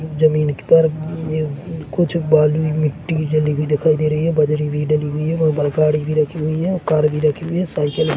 जमीन पर अम्म कुछ बालू मिट्टी डली हुई दिखाई दे रही है बजरी भी डली हुई है वहाँ पर गाड़ी भी रखी हुई है और कार भी रखी हुई है ओर साइकिल भी --